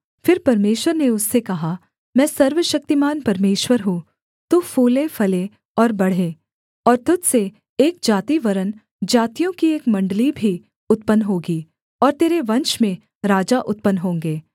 फिर परमेश्वर ने उससे कहा मैं सर्वशक्तिमान परमेश्वर हूँ तू फूलेफले और बढ़े और तुझ से एक जाति वरन् जातियों की एक मण्डली भी उत्पन्न होगी और तेरे वंश में राजा उत्पन्न होंगे